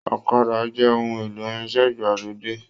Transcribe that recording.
Ọ̀kàdà jẹ ohùn èlò irinṣẹ ìgbàlódé.